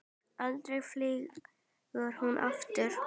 Aldrei flýgur hún aftur